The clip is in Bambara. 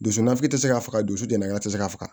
Dusu nasi tɛ se ka faga dusu tigɛŋɛ te se ka faga